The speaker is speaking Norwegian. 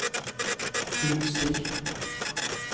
budstikke